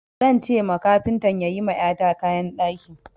Zan ce ma kafintan ya yi ma ƴata kayan ɗaki.